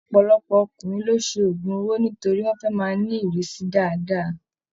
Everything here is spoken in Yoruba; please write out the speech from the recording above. Ọpọlọpọ ọkùnrin ló ṣe ogún owó nítorí wọn fẹ máa ni irisi dáadáa.